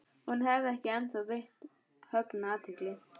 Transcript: Hún hafði ekki ennþá veitt Högna athygli.